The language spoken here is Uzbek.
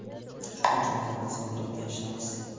ushbu jinoyatni sodir etgan shaxs:.